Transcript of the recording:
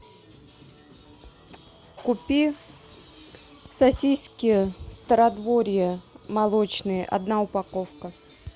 купи сосиски стародворье молочные одна упаковка